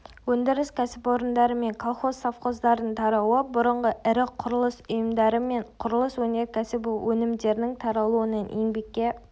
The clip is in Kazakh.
өндіріс кәсіпорындары мен колхоз-совхоздардың тарауы бұрынғы ірі құрылыс ұйымдары мен құрылыс өнеркәсібі өнімдерінің таралуынан еңбекке